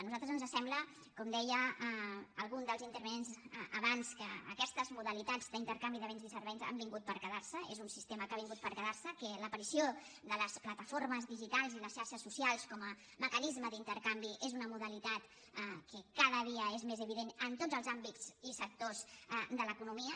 a nosaltres ens sembla com deia algun dels intervinents abans que aquestes modalitats d’intercanvi de béns i serveis han vingut per quedar se és un sistema que ha vingut per quedar se que l’aparició de les plataformes digitals i les xarxes socials com a mecanisme d’intercanvi és una modalitat que cada dia és més evident en tots els àmbits i sectors de l’economia